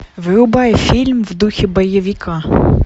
врубай фильм в духе боевика